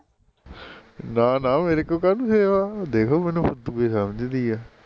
ਨਾ ਨਾ ਮੇਰੇ ਕੋਲ ਕਾਹਨੂੰ save ਆ ਦੇਖ ਉਏ ਮੈਨੂੰ xx ਓ ਸਮਝਦੀ ਆ